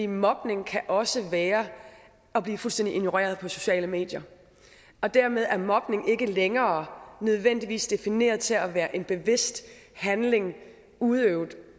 mobning kan også være at blive fuldstændig ignoreret på sociale medier dermed er mobning ikke længere nødvendigvis defineret til at være en bevidst handling udøvet